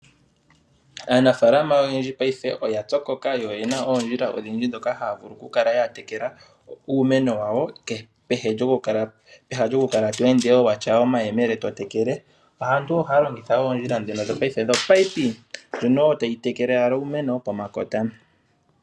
Aanafalama oyendji paife oya pyokoka. Yo oye na ondjila odhindji dhoka haa vulu ku kala ya tekela uumeno wayo. Peha lyokukala to ende wo watya oomayemele totekele aantu oha longitha wo oondjila dhono dho paife dhopipe ndjono tayi tekele owala uumeno pomakota.